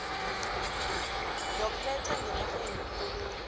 yokuletha ngenarheni ikoloyi